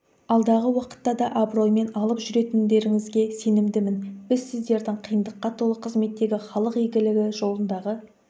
алдағы уақытта да абыроймен алып жүретіндеріңізге сенімдімін біз сіздердің қиындыққа толы қызметтегі халық игілігі жолындағы